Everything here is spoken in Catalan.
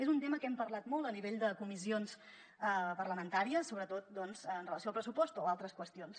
és un tema que hem parlat molt a nivell de comissions parlamentàries sobretot amb relació al pressupost o a altres qüestions